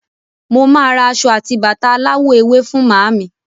Mo máa ra aṣọ àti bàtà aláwọ̀ ewé fún màámi.